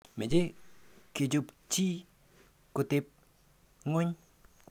Meche kechokchi keteb ng'weny .